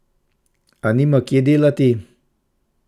A nima kje delati.